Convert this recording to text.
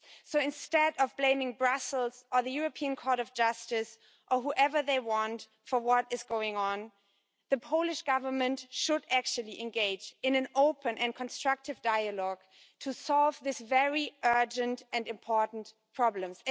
So instead of blaming Brussels or the European Court of Justice or whoever they want for what is going on, the Polish Government should actually engage in an open and constructive dialogue to solve these very urgent and important problems.